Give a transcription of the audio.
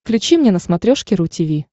включи мне на смотрешке ру ти ви